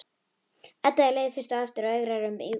Edda er leið fyrst á eftir og eigrar um íbúðina.